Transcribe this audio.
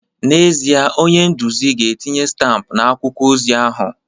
N'ezie, onye nduzi ga-etinye stampụ akwụkwọ ozi ahụ